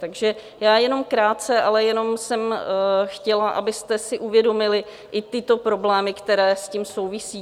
Takže já jenom krátce, ale jenom jsem chtěla, abyste si uvědomili i tyto problémy, které s tím souvisí.